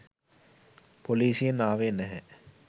පොලිසියෙන් ආවේ නැහැ.